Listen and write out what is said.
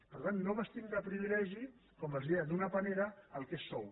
per tant no vestim de privilegi com els deia d’una panera el que és sou